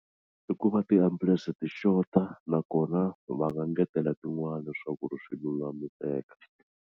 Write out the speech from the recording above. I ku va ti ambulense ti xota nakona va nga ngetela tin'wani leswaku ri swi lulamiseka.